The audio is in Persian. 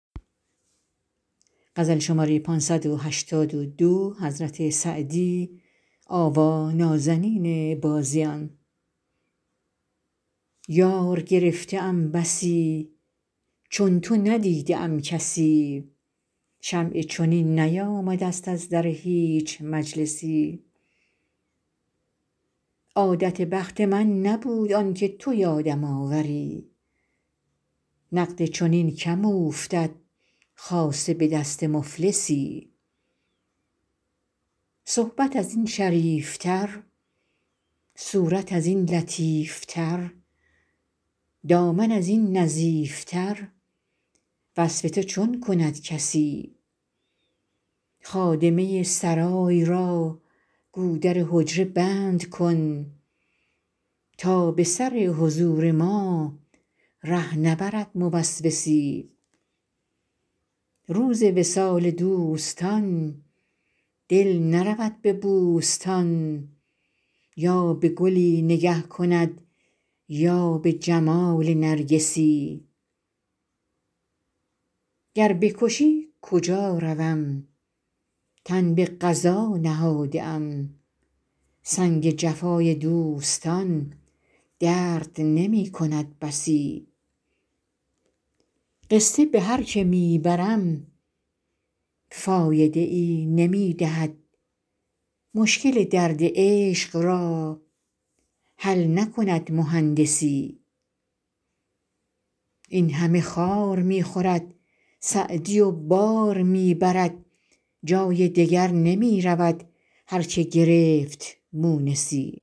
یار گرفته ام بسی چون تو ندیده ام کسی شمعی چنین نیامده ست از در هیچ مجلسی عادت بخت من نبود آن که تو یادم آوری نقد چنین کم اوفتد خاصه به دست مفلسی صحبت از این شریف تر صورت از این لطیف تر دامن از این نظیف تر وصف تو چون کند کسی خادمه سرای را گو در حجره بند کن تا به سر حضور ما ره نبرد موسوسی روز وصال دوستان دل نرود به بوستان یا به گلی نگه کند یا به جمال نرگسی گر بکشی کجا روم تن به قضا نهاده ام سنگ جفای دوستان درد نمی کند بسی قصه به هر که می برم فایده ای نمی دهد مشکل درد عشق را حل نکند مهندسی این همه خار می خورد سعدی و بار می برد جای دگر نمی رود هر که گرفت مونسی